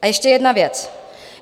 A ještě jedna věc.